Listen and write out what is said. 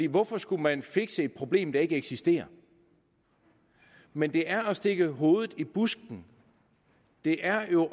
hvorfor skulle man fikse et problem der ikke eksisterer men det er at stikke hovedet i busken det er jo